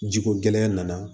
Jiko gɛlɛya nana